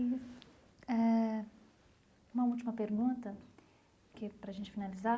E eh uma última pergunta que para a gente finalizar.